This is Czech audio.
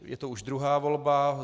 Je to už druhá volba.